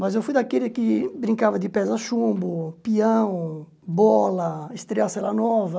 Mas eu fui daquele que brincava de pés a chumbo, pião, bola, estrear cela nova.